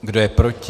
Kdo je proti?